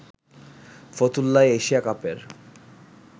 ফতুল্লায় Asia কাপের